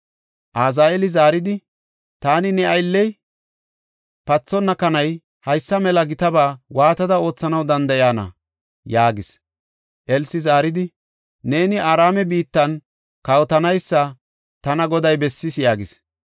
Azaheeli zaaridi, “Taani ne aylley, pathenna kanay, haysa mela gitaba waatada oothanaw danda7iyana?” yaagis. Elsi zaaridi, “Neeni Araame biittan kawotanaysa tana Goday bessis” yaagis.